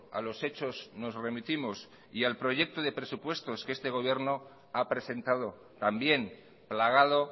a los hechos nos remitimos y al proyecto de presupuesto que este gobierno ha presentado también plagado